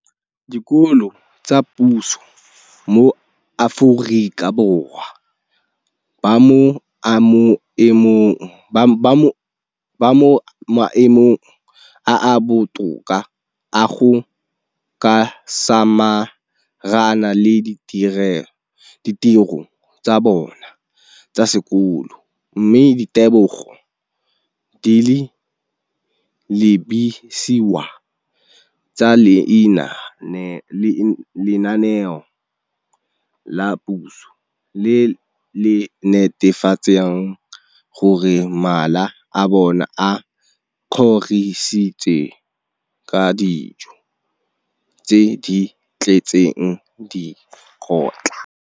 dikolo tsa puso mo Aforika Borwa ba mo maemong a a botoka a go ka samagana le ditiro tsa bona tsa sekolo, mme ditebogo di lebisiwa kwa lenaaneng la puso le le netefatsang gore mala a bona a kgorisitswe ka dijo tse di tletseng dikotla.